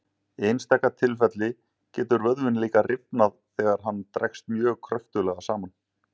Í einstaka tilfelli getur vöðvinn líka rifnað þegar hann dregst mjög kröftuglega saman.